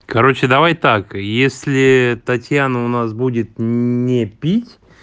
короче давай так если татьяна у нас будет не пить